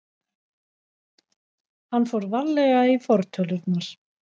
Hann fór varlega í fortölurnar.